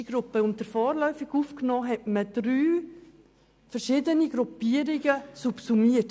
Unter die vorläufig Aufgenommenen hat man drei unterschiedliche Gruppen subsumiert.